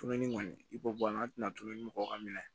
Tununi kɔni i b'o bɔ a la an tɛna to dumuni bɔ ka minɛ